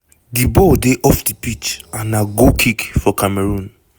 di ball dey off di pitch and na goal kick for cameroon.